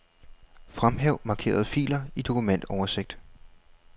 Fremhæv markerede filer i dokumentoversigt.